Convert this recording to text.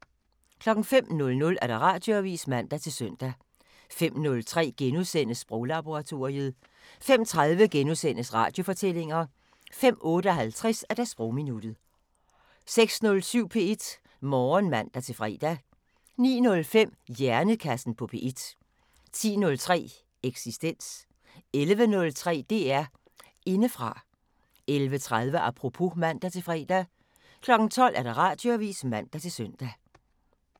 05:00: Radioavisen (man-søn) 05:03: Sproglaboratoriet * 05:30: Radiofortællinger * 05:58: Sprogminuttet 06:07: P1 Morgen (man-fre) 09:05: Hjernekassen på P1 10:03: Eksistens 11:03: DR Indefra 11:30: Apropos (man-fre) 12:00: Radioavisen (man-søn)